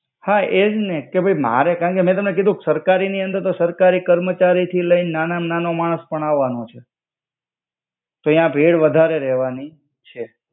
હા એજ ને કે ભઈ મારે કાન કે મે તમને કિધુ ક સરકારી ની અંદર તો સરકારી કર્મચરી થી લઈ નાના મા નાનો માણ્સ પણ આવાનો છે.